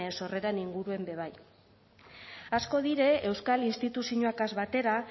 sorreren inguruen be bai asko dire euskal instituziñoakaz batera